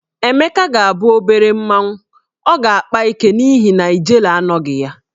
Emeka ga-abụ obere mmanwụ, ọ ga-akpa ike n'ihi na ijele anọghị nso.